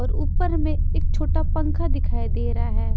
और ऊपर में एक छोटा पंखा दिखाई दे रहा है ।